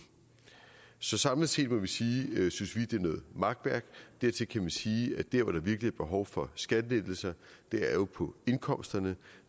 så samlet set må vi sige at vi synes det er noget makværk dertil kan man sige at der hvor der virkelig er behov for skattelettelser jo er på indkomsterne